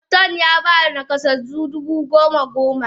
Paston Yaba nakasassu dubu goma goma.